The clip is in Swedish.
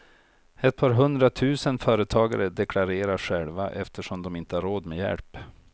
Ett par hundra tusen företagare deklarerar själva eftersom de inte har råd med hjälp.